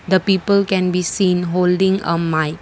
the people can be seen holding a mike.